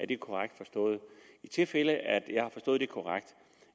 det korrekt forstået i tilfælde af at jeg har forstået det korrekt